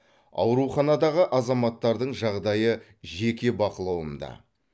ауруханадағы азаматтардың жағдайы жеке бақылауымда